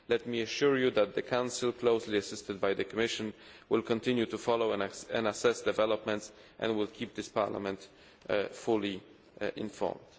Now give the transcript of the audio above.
Let me assure you that the Council, closely assisted by the Commission, will continue to follow and assess developments and will keep this Parliament fully informed.